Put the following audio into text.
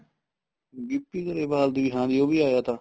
ਗਿਪੀ ਗਰੇਵਾਲ ਦੀ ਹਾਂਜੀ ਉਹ ਵੀ ਆਇਆ ਤਾ